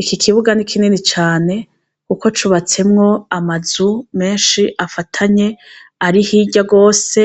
Iki kibuga ni kinini cane kuko cubatsemwo amazu menshi afatanye ari hirya gose